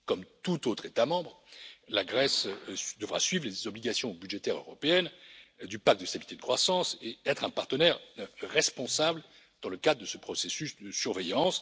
Comme tout autre État membre, la Grèce devra suivre les obligations budgétaires européennes du pacte de stabilité de croissance et être un partenaire responsable dans le cadre de ce processus de surveillance.